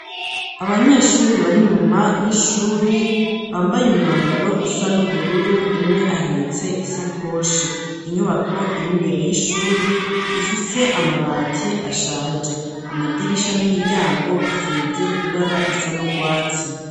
Abanyeshuri bari nyuma y'ishuri ,bambaye umwambaro usa n'ubururu, umwe ahetse isakoshe inyubako iri mbere y'ishuri, ifise amabati ashaje .Amadirisha n'imiryango asize ibara risa n'urwatsi.